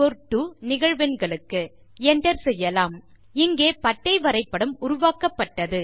L 2 நிகழ்வெண்களுக்கு Enter செய்யலாம் இங்கே பட்டை வரைபடம் உருவாக்கப்பட்டது